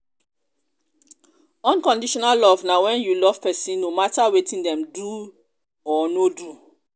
unconditional love na wen you love person no mata wetin dem do or no do.